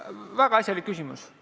Väga asjalik küsimus!